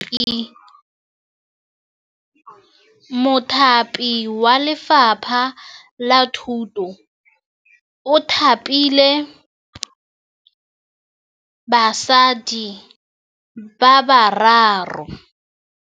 Mothapi wa Lefapha la Thutô o thapile basadi ba ba raro.